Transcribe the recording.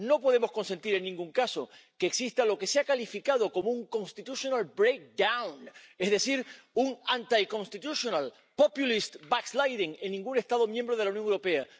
No podemos consentir, en ningún caso, que exista lo que se ha calificado como un constitutional breakdown es decir, un anticonstitutional populist backsliding en ningún Estado miembro de la Unión Europea.